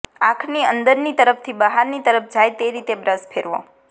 આંખની અંદરની તરફ્થી બહારની તરફ જાય તે રીતે બ્રશ ફેરવો